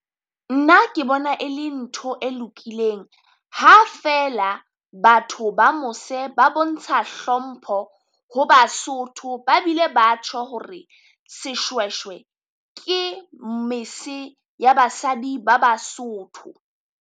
Nna ke bona e le ntho e lokileng, ha feela batho ba mose ba bontsha hlompho ho Basotho, ba bile ba tjho hore seshweshwe ke mese ya basadi ba Basotho.